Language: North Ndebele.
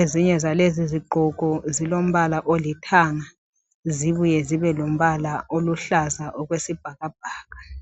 Ezinye zalezi izigqoko zilo mbala olithanga zibuye zibe lombala oluhlaza okwesibhakabhaka.